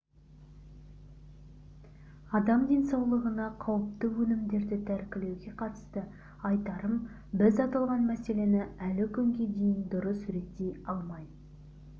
адам денсаулығына қауіпті өнімдерді тәркілеуге қатысты айтарым біз аталған мәселені әлі күнге дейін дұрыс реттей алмай